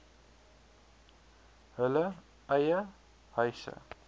hulle eie huise